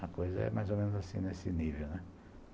A coisa é mais ou menos assim nesse nível, né.